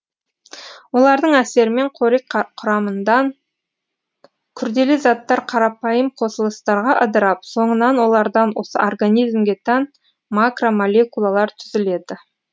олардың әсерімен қорек құрамындан күрделі заттар қарапайым қосылыстарға ыдырап соңынан олардан осы организмге тән макромолекулалар түзіледі